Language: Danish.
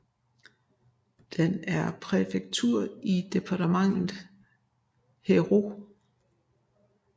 Den er præfektur i departementet Hérault